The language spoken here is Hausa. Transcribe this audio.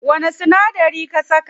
Wani sinadari ka saka?